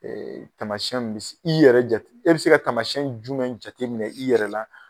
Tamasiɛnw mun bɛ se, i yɛrɛ jate, e bɛ se ka tamasiɛn jumɛn jateminɛ i yɛrɛ la.